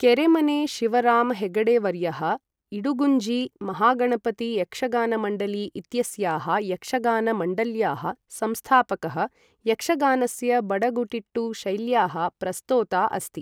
केरेमने शिवराम हेगडेवर्यः, इडुगुञ्जी महागणपति यक्षगानमण्डली इत्यस्याः यक्षगान मण्डल्याः संस्थापकः यक्षगानस्य बडगुटिट्टु शैल्याः प्रस्तोता अस्ति।